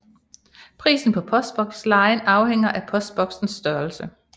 Prisen på postbokslejen afhænger af postboksens størrelse